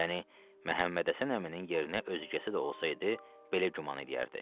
Yəni Məhəmmədhəsən əminin yerinə özgəsi də olsaydı, belə güman eləyərdi.